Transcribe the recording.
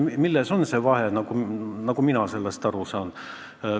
Milles on vahe, nagu mina sellest aru saan?